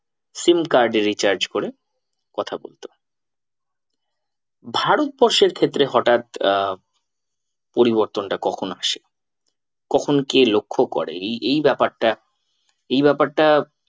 Sim card এ recharge করে কথা বলতো। ভারতবর্ষের ক্ষেত্রে হঠাৎ আহ পরিবর্তনটা কখন আসে কখন কে লক্ষ করে এই এই ব্যাপারটা, এই ব্যাপারটা